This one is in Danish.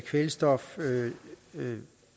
kvælstof